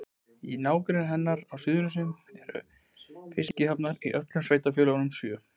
Í nágrenni hennar á Suðurnesjum eru fiskihafnir í öllum sveitarfélögunum sjö.